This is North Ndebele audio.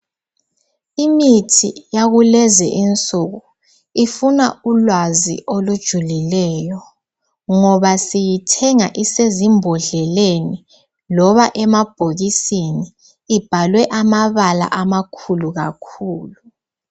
Imithi yakulezinsuku ifuna ulwazi olujulileyo ngoba siyithenga isesimbodleleni loba emabhokisini ibhalwe amabala amakhulu kakhulu.